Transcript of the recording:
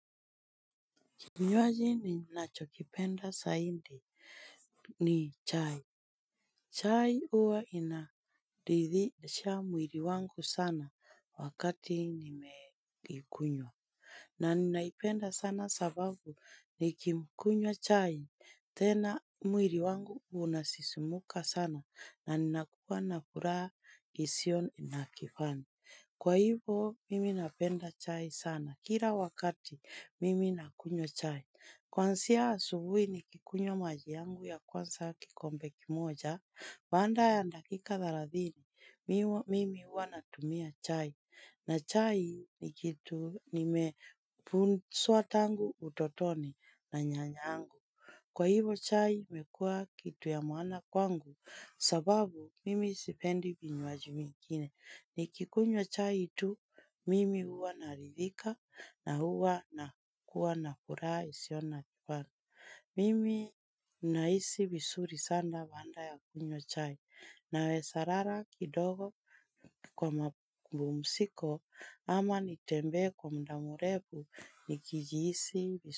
Kinywaji ninacho kipenda zaidi ni chai. Chai huwa inaridhisha mwili wangu sana wakati nimeikunywa. Na ninaipenda sana sababu nikimkunywa chai. Tena mwili wangu unasisumuka sana na nina kuwa na furaha isiyo na kifani. Kwa hivyo mimi napenda chai sana kila wakati mimi nakunywa chai kwanzia asubuhi nikikunywa maji yangu ya kwanza kikombe kimoja. Baada ya dakika thelathini, mimi huwa natumia chai. Na chai ni kitu nimefunswa tangu utotoni na nyanyangu. Kwa hivo, chai imekua kitu ya maana kwangu sababu mimi sipendi vinywaji vingine. Nikikunywa chai tu, mimi huwa naridhika na huwa nakuwa na furaha isiyo na mfano. Mimi nahisi visuri sana baada ya kunywa chai nawesa lala kidogo kwa mapumbumsiko ama nitembee kwa muda mrefu nikijisi visuri.